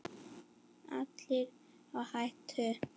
Allir á hættu.